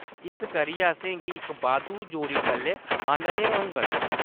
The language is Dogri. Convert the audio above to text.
इस करियै, असेंगी इक बाद्धू जोड़ी टल्ले आह्‌‌‌नने होङन।